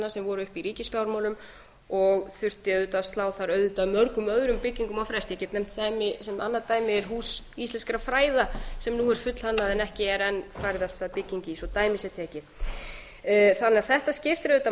sem voru uppi í ríkisfjármálum og þurfti auðvitað að slá þar auðvitað mörgum öðrum byggingum á frest ég get nefnt annað dæmi sem er hús íslenskra fræða sem nú er fullhannað en ekki er enn farið af stað bygging svo dæmi sé tekið þannig að þetta skiptir